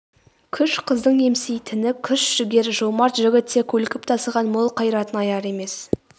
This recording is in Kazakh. күш қыздың емсейтіні күш жігер жомарт жігіт те көлкіп тасыған мол қайратын аяр емес